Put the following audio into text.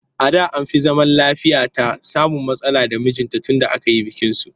A da an fi zaman lafiyata samun matsala da mijinta tunda aka yi bikinsu